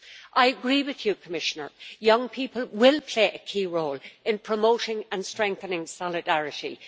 I agree with you Commissioner, young people will play a key role in promoting and strengthening solidarity.